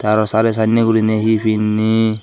arw sari sanney gurinei hi pinni.